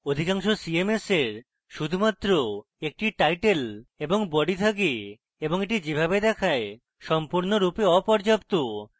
অধিকাংশ cms এর শুধুমাত্র একটি শিরোনাম এবং body থাকে এবং এটি যেভাবে দেখায় সম্পূর্ণরূপে অপর্যাপ্ত